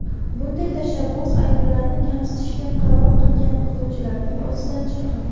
Bunday tashabbus ayollarni kamsitishga qaror qilgan o‘quvchilarning o‘zidan chiqqan.